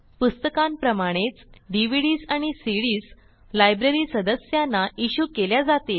पुस्तकांप्रमाणेच DVDs आणि CDs library सदस्यांना issue केल्या जातील